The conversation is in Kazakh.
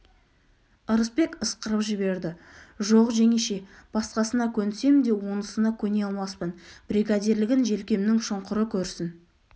ырысбек ысқырып жіберді жоқ жеңеше басқасына көнсем де онысына көне алмаспын бригадирлігін желкемнің шұңқыры көрсін